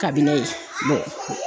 Kabi ne ye